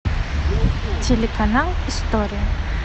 телеканал история